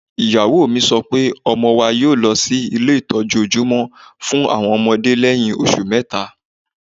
Ìyàwó mi sọ pé ọmọ wa yóọ̀ lọ sí ilé ìtọ́jú ojúmọ́ fún àwọn ọmọdé lẹ́yìn oṣù mẹ́ta